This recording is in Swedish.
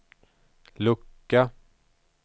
lucka